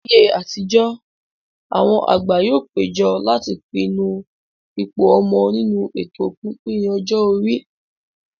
Ní ayé àtijó, àwọn àgbà yóò péjọ láti pinnu ipò ọmọ nínú ètò pípín ọjọ́ orí